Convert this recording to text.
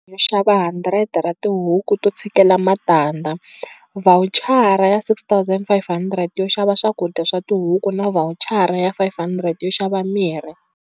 Yo xava 100 ra tihuku to tshikela matandza, vhawuchara ya R6 500 yo xava swakudya swa tihuku na vhawuchara ya R500 yo xava mirhi.